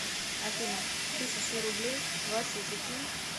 афина тысячу рублей васе закинь